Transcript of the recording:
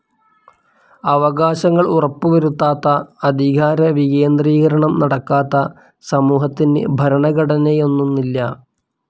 അവകാശങ്ങൾ ഉറപ്പു വരുത്താത്ത, അധികാരവികേന്ദ്രീകരണം നടക്കാത്ത സമൂഹത്തിന് ഭരണഘടനയെന്നൊന്നില്ല.